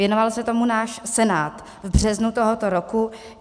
Věnoval se tomu náš Senát v březnu tohoto roku.